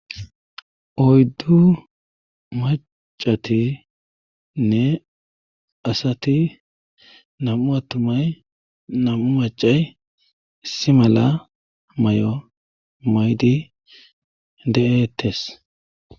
oyddu macatinne asati nam7u attumay nam7u macay si mala may7o maydi de7ettes